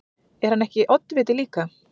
Er hann ekki oddviti líka?